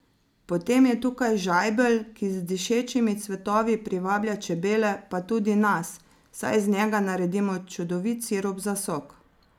Potem je tukaj žajbelj, ki z dišečimi cvetovi privablja čebele pa tudi nas, saj iz njega naredimo čudovit sirup za sok.